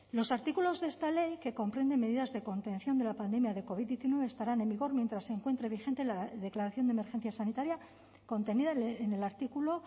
los artículos de esta ley que comprenden medidas de contención de la pandemia de covid diecinueve estarán en vigor mientras se encuentre vigente la declaración de emergencia sanitaria contenida en el artículo